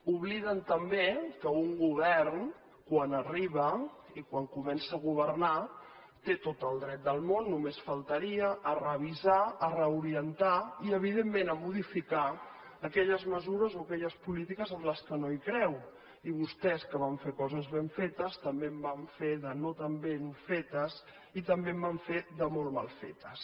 obliden també que un govern quan arriba i quan comença a governar té tot el dret del món només faltaria a revisar a reorientar i evidentment a modificar aquelles mesures o aquelles polítiques en què no creu i vostès que van fer coses ben fetes també en van fer de no tan ben fetes i també en van fer de molt mal fetes